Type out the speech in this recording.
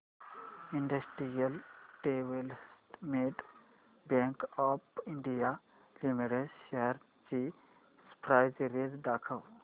industrial development bank of India limited shares ची price range दाखव